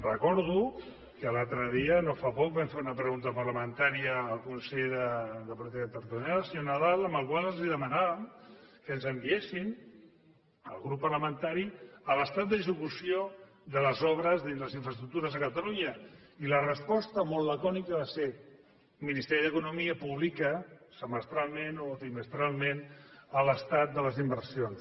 recordo que l’altre dia no fa poc vam fer una pregunta parlamentària al conseller de política territorial senyor nadal en la qual els demanàvem que ens enviessin al grup parlamentari l’estat d’execució de les obres de les infraestructures de catalunya i la resposta molt lacònica va ser el ministeri d’economia publica semestralment o trimestralment l’estat de les inversions